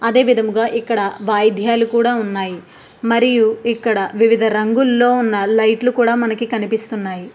అదే విధముగా ఇక్కడ వైద్యలు కూడా ఉన్నాయి మరియు ఇక్కడ వివిధ రంగులో లైట్స్ కూడా కనిపిస్తున్నాయి.